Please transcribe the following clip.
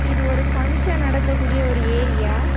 இது ஒரு பங்ஷன் நடக்க கூடிய ஒரு ஏரியா .